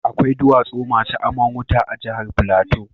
Akwai duwatsu masu aman wuta a jahar Plateau.